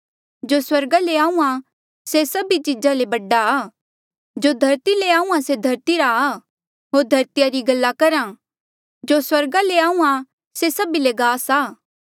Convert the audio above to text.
जो स्वर्गा ले आहूँआं से सभी चीजा ले बड़ा आ जो धरती ले आहूँआं से धरती रा आ होर धरतिया री गल्ला करहा जो स्वर्गा ले आहूँआं से सभी ले गास आ